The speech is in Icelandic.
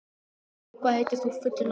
Kató, hvað heitir þú fullu nafni?